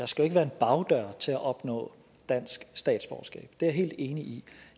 skal være en bagdør til at opnå dansk statsborgerskab det er jeg helt enig i